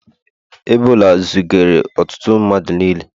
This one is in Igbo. Ebola zigara ọtụtụ mmadụ n'ili